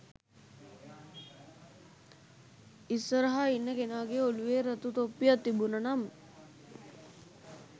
ඉස්සරහ ඉන්න කෙනාගේ ඔලුවේ රතු තොප්පියක් තිබුන නම්